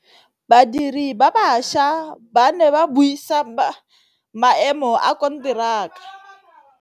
Badiri ba baša ba ne ba buisa maêmô a konteraka.